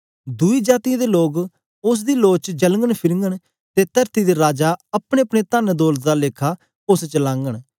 दुई जातीयें दे लोक उस्स दी लों च चलघंन फिरघंन ते तरती दे राजा अपनेअपने तनदौलत दा लेखा उस्स च लाघंन